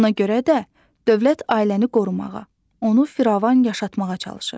Ona görə də dövlət ailəni qorumağa, onu firavan yaşatmağa çalışır.